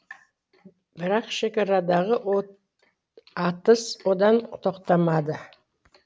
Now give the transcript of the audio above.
бірақ шекарадағы атыс одан тоқтамады